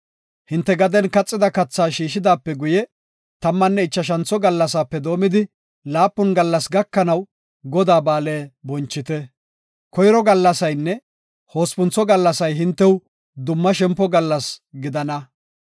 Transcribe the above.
Hinte gaden kaxida kathaa shiishidaape guye, tammanne ichashantho gallasaape doomidi laapun gallas gakanaw Godaa ba7aale bonchite. Koyro gallasaynne hospuntho gallasay hintew dumma shempo gallas gidana.